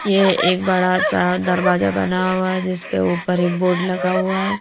ये एक बड़ा सा दरवाजा बना हुआ है जिस पे ऊपर एक बोर्ड लगा हुआ है।